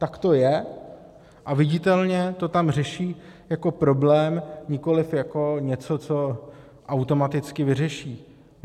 Tak to je a viditelně to tam řeší jako problém, nikoli jako něco, co automaticky vyřeší.